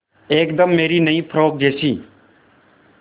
एकदम मेरी नई फ़्रोक जैसी